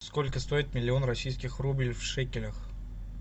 сколько стоит миллион российских рублей в шекелях